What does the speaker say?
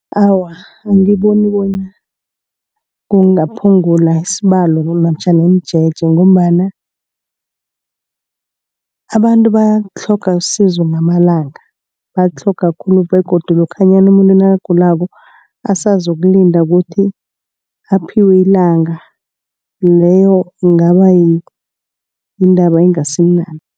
Awa angiboni bonyana kungaphungula isibalo namtjhana imijeje ngombana abantu batlhoga usizo ngamalanga. Batlhoga khulu begodu lokhanyana umuntu nakagulako basazokulinda ukuthi aphiwe ilanga. Leyo kungaba yindaba engasimnandi.